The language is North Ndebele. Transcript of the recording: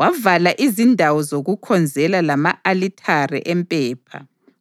Wavala izindawo zokukhonzela lama-alithare empepha